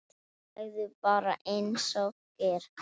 Segðu bara einsog er.